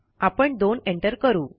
आपण 2 एंटर करू